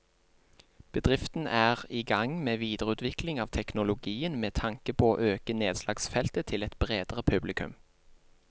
Bedriften er i gang med videreutvikling av teknologien med tanke på å øke nedslagsfeltet til et bredere publikum.